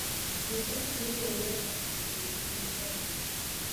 Kaingĩ atumia nĩo methugumagĩra kũrĩ athuri